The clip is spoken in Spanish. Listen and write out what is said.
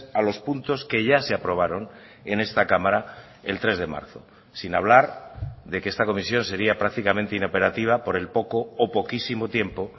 a los puntos que ya se aprobaron en esta cámara el tres de marzo sin hablar de que esta comisión sería prácticamente inoperativa por el poco o poquísimo tiempo